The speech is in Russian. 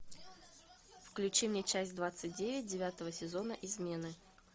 включи мне часть двадцать девять девятого сезона измены